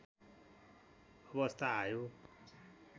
अवस्था आयो